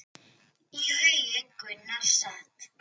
Í haugi Gunnar sat.